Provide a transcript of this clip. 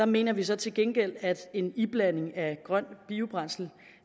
mener vi så til gengæld at en iblanding af grønt biobrændsel